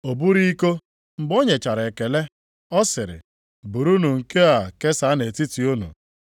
O buru iko, mgbe o nyechara ekele ọ sịrị, “Burunu nke a kesaa nʼetiti unu.